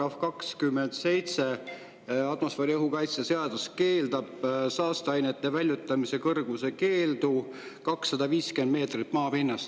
Sest atmosfääriõhu kaitse seaduse § 27 keelab saasteainete väljutamise kõrgemal kui 250 meetrit maapinnast.